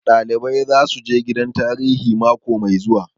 Ɗalibai zasu je gidan tarihi mako mai zuwa